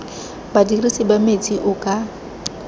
badirisi ba metsi o ka